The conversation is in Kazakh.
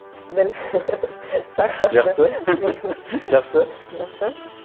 дәл жақсы жақсы жақсы